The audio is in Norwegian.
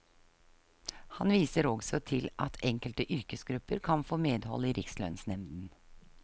Han viser også til at enkelte yrkesgrupper kan få medhold i rikslønnsnemnden.